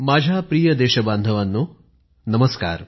माझ्या प्रिय देशबांधवांनो नमस्कार